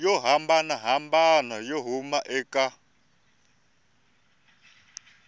yo hambanahambana yo huma eka